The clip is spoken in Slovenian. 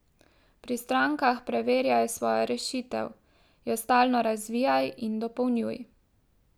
Pri strankah preverjaj svojo rešitev, jo stalno razvijaj in dopolnjuj.